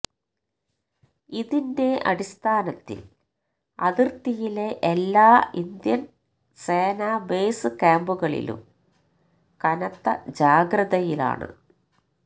ഇതിന്റെ അടിസ്ഥാനത്തില് അതിര്ത്തിയിലെ എല്ലാ ഇന്ത്യന് സേന ബേസ് ക്യാമ്പുകളിലും കനത്ത ജാഗ്രതയിലാണ്